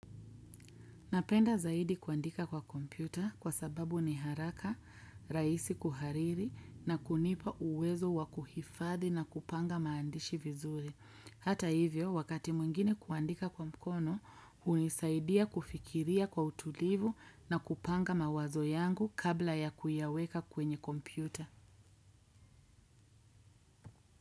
Napenda zaidi kuandika kwa kompyuta kwa sababu ni haraka, rahisi kuhariri na kunipa uwezo wa kuhifadi na kupanga maandishi vizuri. Hata hivyo, wakati mwingine kuandika kwa mkono, hunisaidia kufikiria kwa utulivu na kupanga mawazo yangu kabla ya kuyaweka kwenye kompyuta.